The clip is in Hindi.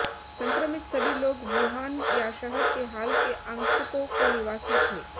संक्रमित सभी लोग वुहान या शहर के हाल के आगंतुकों के निवासी थे